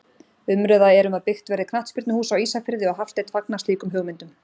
Umræða er um að byggt verði knattspyrnuhús á Ísafirði og Hafsteinn fagnar slíkum hugmyndum.